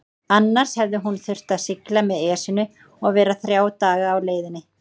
Annars hefði hún þurft að sigla með Esjunni og vera þrjá daga á leiðinni.